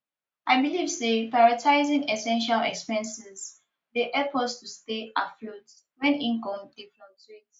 i believe say prioritizing essential expenses dey help us to stay afloat when income dey fluctuate